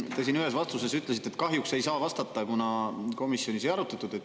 Te siin ühes vastuses ütlesite, et kahjuks ei saa vastata, kuna komisjonis ei arutatud.